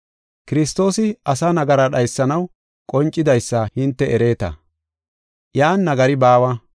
Kiristoosi asaa nagara dhaysanaw qoncidaysa hinte ereeta; iyan nagari baawa.